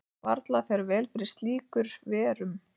Varla fer vel fyrir slíkur verum.